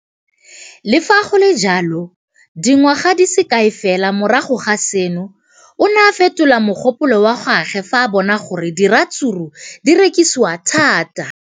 Le fa go le jalo, dingwaga di se kae fela morago ga seno, o ne a fetola mogopolo wa gagwe fa a bona gore diratsuru di rekisiwa thata.